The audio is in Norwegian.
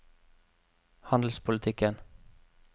handelspolitikken